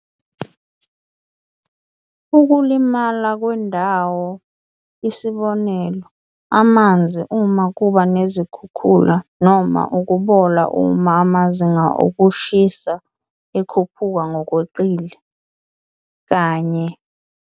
Ukulimala kwendawo, isibonelo, amanzi uma kuba nezikhukhula noma ukubola uma amazinga okushisa ekhuphuka ngokweqile, kanye